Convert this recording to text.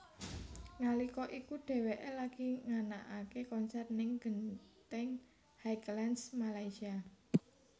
Nalika iku dheweké lagi nganakaké konser ning Genting Highlands Malaysia